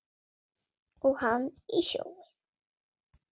Og hann í sjóinn.